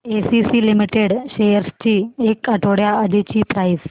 ACC limited shares ची एक आठवड्या आधीची प्राइस